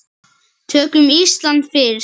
Tökum Ísland fyrst.